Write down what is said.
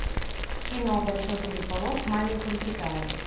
кино большой переполох в маленьком китае